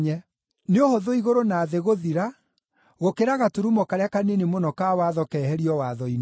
Nĩ ũhũthũ igũrũ na thĩ gũthira, gũkĩra gaturumo karĩa kanini mũno ka Watho keherio watho-inĩ.